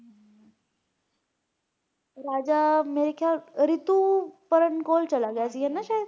ਰਾਜਾ ਮੇਰੇ ਖਿਆਲ ਰਿਤੁਪਰਣ ਕੋਲ ਚਲਾ ਗਿਆ ਸੀ ਨਾਲ ਹੈ ਨਾ ਸ਼ਾਇਦ